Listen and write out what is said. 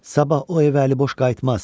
Sabah o evə əliboş qayıtmaz."